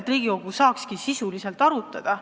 Aga Riigikogu tahaks eelarvet sisuliselt arutada.